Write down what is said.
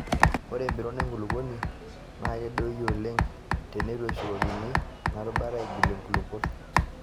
Ore empiron enkulukuoni naa kedoyio oleng' teneitu eshukokini ena rutuba aigilie nkulukuok.